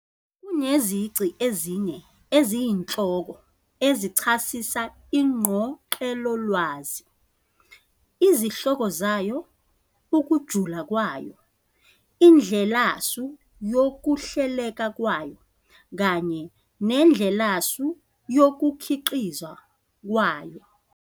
Kunezici ezine eziyinhloko ezichasisa INgqoqelolwazi- izihloko zayo, ukujula kwayo, indlelasu yokuhleleka kwayo, kanye nendlelasu yokukhiqizwa kwayo.